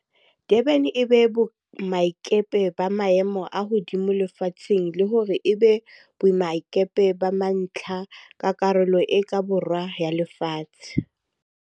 Durban e be boemakepe ba maemo a hodimo lefatsheng le hore e be boemakepe ba mantlha ba Karolo e ka Borwa ya Lefatshe.